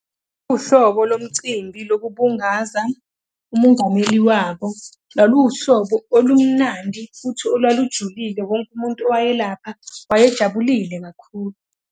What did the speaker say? Uhlobo lomcimbi lokubungaza umungameli wabo, laluwuhlobo olumnandi futhi olwalujulile wonke umuntu owayelapha, waye jabulile kakhulu.